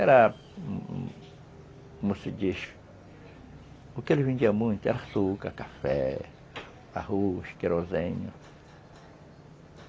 Era, como se diz, o que ele vendia muito era açúcar, café, arroz, querosene.